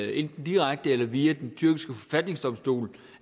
enten direkte eller via den tyrkiske forfatningsdomstol